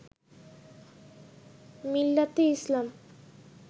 Millat e Islam